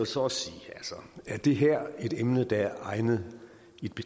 så også sige er det her et emne der er egnet